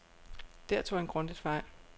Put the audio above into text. Der tog han grundigt fejl.